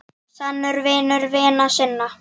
Sannur vinur vina sinna.